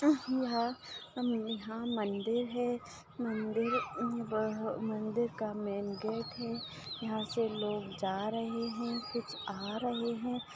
यहाँ मंदिर है मंदिर अब मंदिर का मेन गेट है यहाँ से लोग जा रहे है कुच्छ आ रहे है।